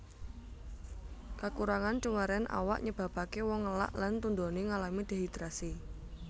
Kakurangan cuwèran awak nyebabaké wong ngelak lan tundoné ngalami dehidrasi